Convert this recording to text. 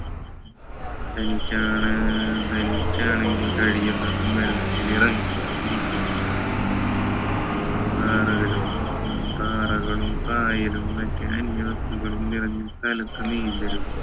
തനിച്ചാണ് തനിച്ചാണെങ്കിൽ കഴിയുന്നതും വെള്ളത്തിൽ ഇറങ്ങാതിരിക്കുക പാറകളും ഉം പാറകളും പായലും മറ്റു അന്യ വസ്തുക്കളും നിറഞ്ഞ സ്ഥലത്ത് നീന്തരുത്